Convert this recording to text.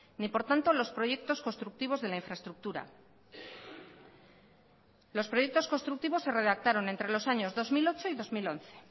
ni por tanto los proyectos constructivos de la infraestructura los proyectos constructivos se redactaron entre los años dos mil ocho y dos mil once